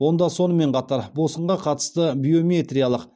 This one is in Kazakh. онда сонымен қатар босқынға қатысты биометриялық